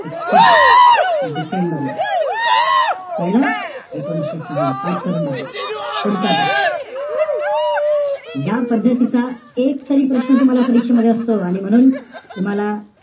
तीस डिसेंबरला कळलं? एकोणीशे सहाला. पाठ करून टाका. पुढचा प्रश्न. या पद्धतीचा एक तरी प्रश्न तुम्हाला परीक्षेमध्ये असतो. आणि म्हणून तूम्हाला,